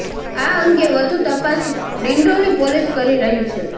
આ અંગે વધુ તપાસ ડિંડોલી પોલીસ કરી રહી છે